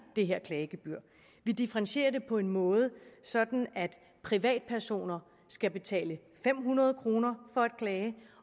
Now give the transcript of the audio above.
det her klagegebyr vi differentierer det på en måde så privatpersoner skal betale fem hundrede kroner for at klage